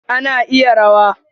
A, na iya rawa.